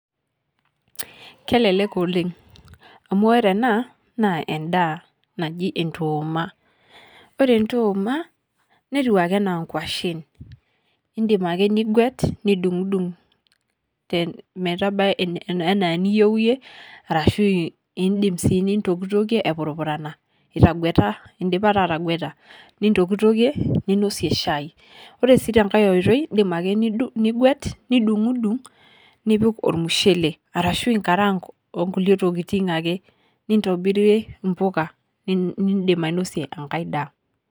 Kelelek oleng, amu ore ena, naa endaa naji endooma. Ore ndooma, netiu ake enaa nkwashen. Idim ake niguet, nidung'dung, metabai enaa eniyieu yie, arashu idim si nintokitokie epurupurana, itagueta, idipa taa atagueta, nintokitokie, ninosie shai. Ore si tenkae oitoi, idim ake nidung' niguet, nidung'dung, nipik ormushele. Arashu inkarank onkulie tokiting ake. Nintobirie impuka. Nidim ainosie enkae daa.